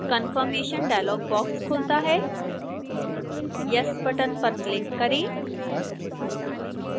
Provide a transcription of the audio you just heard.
confirmation dialog box खुलता है yes box पर क्लिक करें